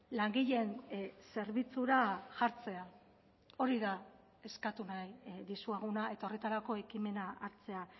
langileen zerbitzura jartzea hori da eskatu nahi dizueguna eta horretarako ekimena hartzea